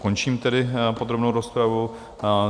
Končím tedy podrobnou rozpravu.